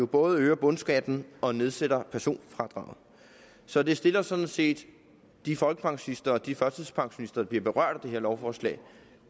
både øger bundskatten og nedsætter personfradraget så det stiller sådan set de folkepensionister og de førtidspensionister der bliver berørt af det her lovforslag